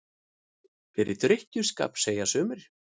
Fyrir drykkju- skap, segja sumir.